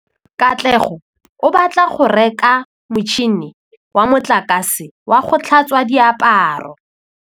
Katlego o batla go reka motšhine wa motlakase wa go tlhatswa diaparo.